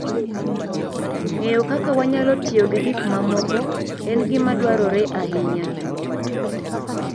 Ng'eyo kaka wanyalo tiyo gi gik mamoko en gima dwarore ahinya.